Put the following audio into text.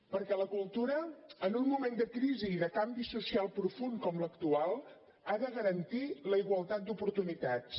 perquè la cultura en un moment de crisi i de canvi social profund com l’actual ha de garantir la igualtat d’oportunitats